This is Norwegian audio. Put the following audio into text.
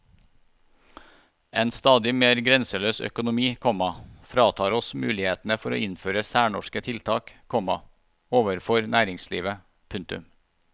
En stadig mer grenseløs økonomi, komma fratar oss mulighetene for å innføre særnorske tiltak, komma overfor næringslivet. punktum